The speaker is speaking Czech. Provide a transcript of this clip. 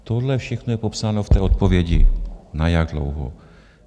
Tohle všechno je popsáno v té odpovědi, na jak dlouho.